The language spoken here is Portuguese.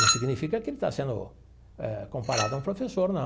Não significa que ele está sendo comparado a um professor, não.